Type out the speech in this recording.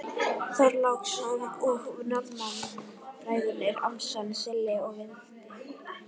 Þorláksson og Norðmann, Bræðurnir Ormsson, Silli og Valdi.